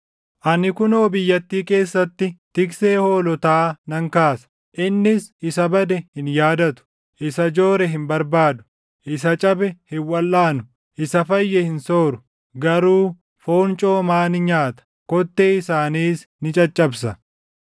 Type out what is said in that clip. Ani kunoo biyyattii keessatti tiksee hoolotaa nan kaasa; innis isa bade hin yaadatu; isa joore hin barbaadu; isa cabe hin walʼaanu; isa fayye hin sooru; garuu foon coomaa ni nyaata; kottee isaaniis ni caccabsa.